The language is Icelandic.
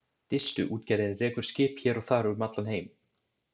Distuútgerðin rekur skip hér og þar um allan heim.